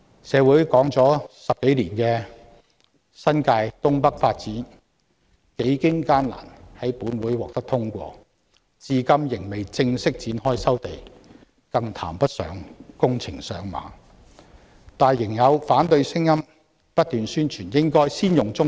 社會討論了10多年的新界東北發展，幾經艱難終在立法會獲得通過，但至今仍未正式展開收地程序，更談不上展開工程，但有反對者仍然不斷提出應該先開發棕地。